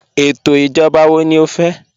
Étò ijọ̀ba wọ̀ ní ọ fẹ́?